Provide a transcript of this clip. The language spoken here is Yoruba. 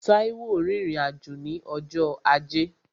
Táíwò rìnrìn-àjò ní ọjọ́ ajé